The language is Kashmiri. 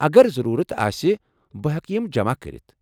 اگر ضروٗرت آسہ، بہٕ ہٮ۪کہٕ یِم جمع کٔرتھ ۔